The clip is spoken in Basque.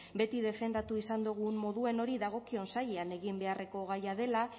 beti defendatu izan dogun moduen hori dagokion sailean egin beharreko gaia dela